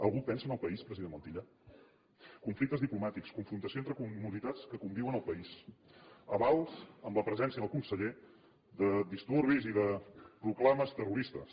algú pensa en el país president montilla conflictes diplomàtics confrontació entre comunitats que conviuen al país avals amb la presència del con·seller de disturbis i de proclames terroristes